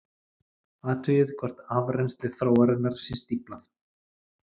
Athugið hvort afrennsli þróarinnar sé stíflað.